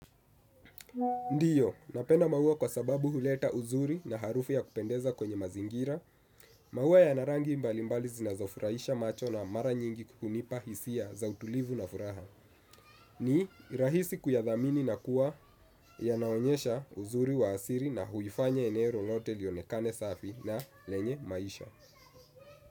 Ndiyo napenda maua kwa sababu huleta uzuri na harufu ya kupendeza kwenye mazingira. Maua yana rangi mbalimbali zinazofurahisha macho na mara nyingi hunipa hisia za utulivu na furaha. Ni rahisi kuyadhamini na kuwa yanaonyesha uzuri wa asili na huifanya eneo lolote lionekane safi na lenye maisha.